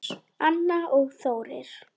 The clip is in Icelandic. Anna og Þórir.